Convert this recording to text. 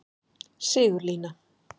Sigurlína